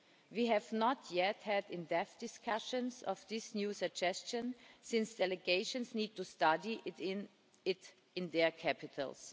We have not yet had in-depth discussions of this new suggestion, since delegations need to study it in their capitals.